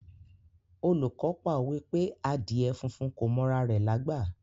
Olùkọ́ pa òwe pé Àdíè funfun kò m'ora rẹ̀ lágbà.